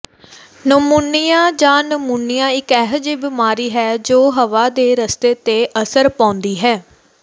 pneumonia ਜਾਂ pneumonia ਇੱਕ ਅਜਿਹੀ ਬਿਮਾਰੀ ਹੈ ਜੋ ਹਵਾ ਦੇ ਰਸਤੇ ਤੇ ਅਸਰ ਪਾਉਂਦੀ ਹੈ